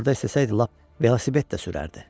Orda istəsəydi lap velosiped də sürərdi.